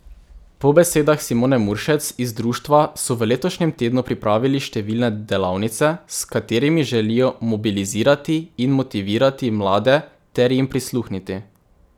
Po besedah Simone Muršec iz društva so v letošnjem tednu pripravili številne delavnice, s katerimi želijo mobilizirati in motivirati mlade ter jim prisluhniti.